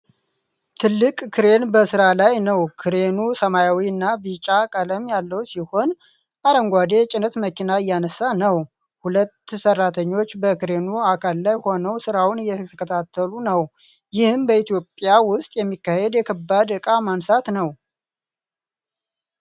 ትልቅ ክሬን በሥራ ላይ ነው። ክሬኑ ሰማያዊና ቢጫ ቀለም ያለው ሲሆን፣ አረንጓዴ የጭነት መኪና እያነሳ ነው። ሁለት ሠራተኞችም በክሬኑ አካል ላይ ሆነው ሥራውን እየተከታተሉ ነው። ይህም በኢትዮጵያ ውስጥ የሚካሄድ የከባድ ዕቃ ማንሳት ነው ።